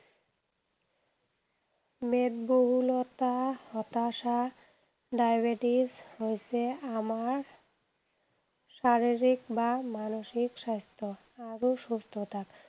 মেদবহুলতাৰ, হতাশা, ডায়েবেটিচ হৈছে আমাৰ শাৰীৰিক বা মানসিক স্বাস্থ্য আৰু সুস্থতা।